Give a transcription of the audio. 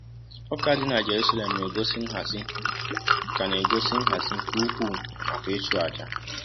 Ụka dị na Jerusalem na-egosi nhazi ka na-egosi nhazi ka ukwuu maka ịchụ àjà.